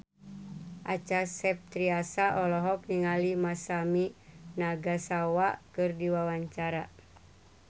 Acha Septriasa olohok ningali Masami Nagasawa keur diwawancara